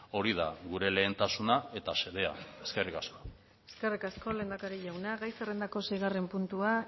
hori da gure lehentasuna eta xedea eskerrik asko eskerrik asko lehendakari jauna gai zerrendako seigarren puntua